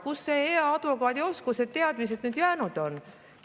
Kuhu need hea advokaadi oskused ja teadmised jäänud on?